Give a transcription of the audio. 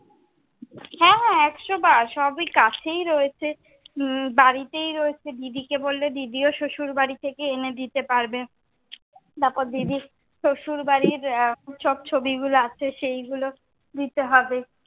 হ্যাঁ একশবার, সবই কাছেই রয়েছে। বাড়িতে ই রয়েছে। দিদিকে বললে, দিদিও শ্বশুর বাড়ি থেকে এনে দিতে পারবে। তারপর দিদির শ্বশুর বাড়ির সব ছবি গুলো আছে, সেইগুলো দিতে হবে।